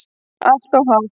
Allt of hátt.